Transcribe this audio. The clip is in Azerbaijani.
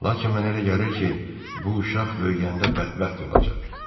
Lakin mən elə gəlir ki, bu uşaq böyüyəndə bədbəxt olacaq.